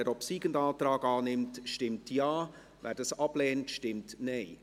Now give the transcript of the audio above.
Wer den obsiegenden Antrag annimmt, stimmt Ja, wer das ablehnt, stimmt Nein.